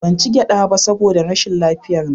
Ban ci gyada ba saboda rashin lafiyarna